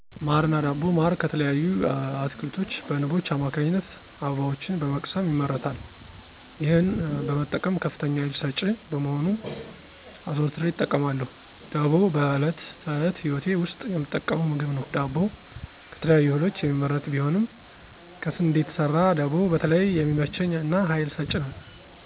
ማር እና ዳቦ ማር ከተለያዩ አትክልቶች በንቦች አማካኝነት አበባዎችን በመቅሰም ይመረታል ይህን በመጠቀም ከፍተኛ ሃይል ሰጭ በመሆኑ አዘውትሬ እጠቀማለሁ። ደቦ በዕለት ተዕለት ህይወቴ ውስጥ የምጠቀመው ምግብ ነው ዳቦ ከተለያዩ እህሎች የሚመረት ቢሆንም ከስንዴ የተሰራ ደቦ በተለይ የሚመቸኝ እና ሃይል ሰጭ ነው።